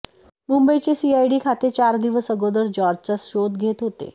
मुंबईचे सीआयडी खाते चार दिवस अगोदर जॉर्जचा शोध घेत होते